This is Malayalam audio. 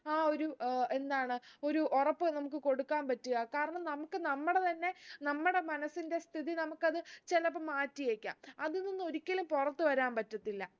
ആ ഒരു ഏർ എന്താണ് ഒരു ഉറപ്പ് നമുക്ക് കൊടുക്കാൻ പറ്റുഅ കാരണം നമുക്ക് നമ്മുടെ തന്നെ നമ്മുടെ മനസ്സിന്റെ സ്ഥിതി നമുക്കത് ചിലപ്പം മാറ്റിയേക്കാം അതിൽ നിന്നും ഒരിക്കലും പൊറത്ത് വരാൻ പറ്റത്തില്ല